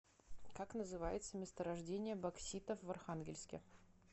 как называется месторождение бокситов в архангельске